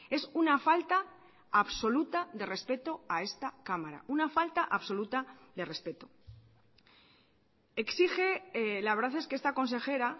es una falta absoluta de respeto a esta cámara una falta absoluta de respeto exige la verdad es que esta consejera